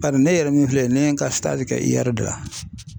Bari ne yɛrɛ min filɛ nin ne ye ka kɛ i yara de la.